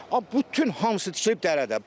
Bütün hamısı tikilib dərədə.